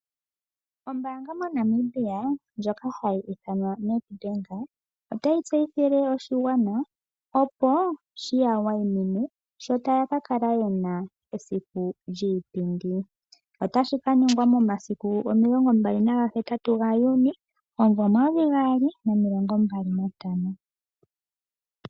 Ombaanga moNamibia ndjoka hayi ithanwa Nedbank, otayi tseyithile oshigwana opo shiya wayimine sho taya kakala yena esiku lyiipindi. Otashi ka ningwa momasiku 28 Juni 2025.